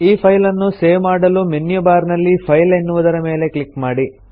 ಈ ಫೈಲನ್ನು ಸೇವ್ ಮಾಡಲು ಮೆನ್ಯು ಬಾರ್ ನಲ್ಲಿ ಫೈಲ್ ಎನ್ನುವುದರ ಮೇಲೆ ಕ್ಲಿಕ್ ಮಾಡಿ